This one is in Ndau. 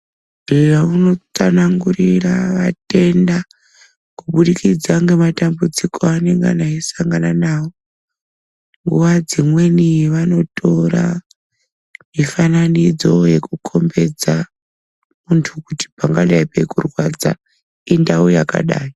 eya! unotsanangurire atenda kubudikidza nge matambudziko anonga eisangana nawo , nguwa dzimweni vanotora mifananidzo yekukukombedza kuti pangadai peikurwadza indau yakadai.